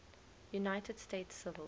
united states civil